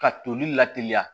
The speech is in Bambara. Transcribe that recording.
Ka toli la teliya